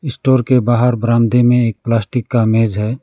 Store के बाहर बरामदे में एक प्लास्टिक का मेज है।